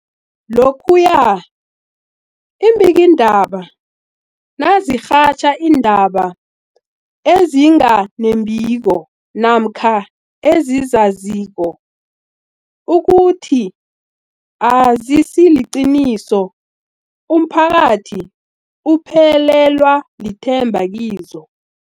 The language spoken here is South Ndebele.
Lokhuya iimbikiindaba nazirhatjha iindaba ezinga nembiko namkha ezizaziko ukuthi azisiliqiniso, umphakathi uphelelwa lithemba kizo.